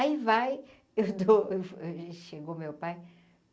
Aí vai, eu dou eu chegou meu pai.